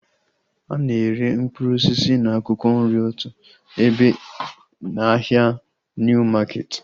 A na-ere mkpụrụ osisi na akwụkwọ nri otu ebe na ahịa Niu maketi